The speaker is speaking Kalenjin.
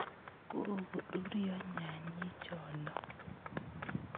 Kokoruryo nyanyi cho'no ?